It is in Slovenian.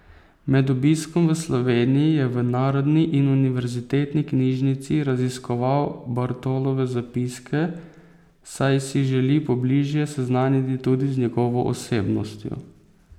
Med obiskom v Sloveniji je v Narodni in univerzitetni knjižnici raziskoval Bartolove zapiske, saj si želi pobližje seznaniti tudi z njegovo osebnostjo.